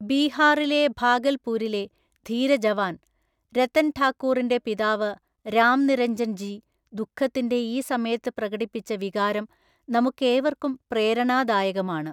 ബീഹാറിലെ ഭാഗല്‍പൂരിലെ ധീരജവാന്‍ രതന് ഠാകൂറിന്റെ പിതാവ് രാംനിരഞ്ജന്‍ ജി ദുഃഖത്തിന്റെ ഈ സമയത്ത് പ്രകടിപ്പിച്ച വികാരം നമുക്കേവര്‍ക്കും പ്രേരണാദായകമാണ്.